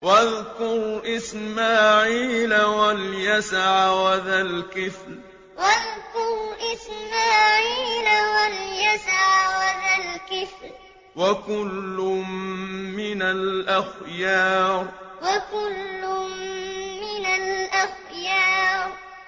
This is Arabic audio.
وَاذْكُرْ إِسْمَاعِيلَ وَالْيَسَعَ وَذَا الْكِفْلِ ۖ وَكُلٌّ مِّنَ الْأَخْيَارِ وَاذْكُرْ إِسْمَاعِيلَ وَالْيَسَعَ وَذَا الْكِفْلِ ۖ وَكُلٌّ مِّنَ الْأَخْيَارِ